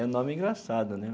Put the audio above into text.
É um nome engraçado, né?